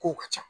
Kow ka ca